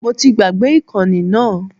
Mo ti gbàgbé ìkànnì náà